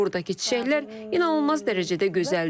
Buradakı çiçəklər inanılmaz dərəcədə gözəldir.